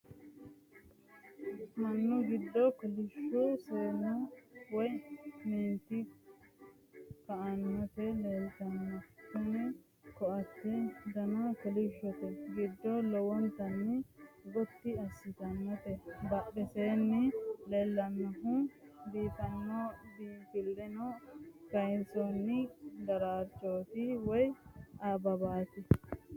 Minu giddo kollishshu seennu woy meenti koaante leelttanoe .tini koaatte Dana kolishshote ginde lowontanni Gotti assitannote. Badheseenni leellannohu biinffilleho kayinsoonni daraarchooti woyi ababaati.